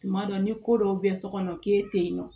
Tuma dɔ ni ko dɔw bɛ so kɔnɔ k'e tɛ yen nɔ